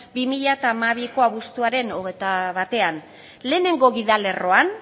bi mila hamabiko abuztuaren hogeita batean lehenengo gidalerroan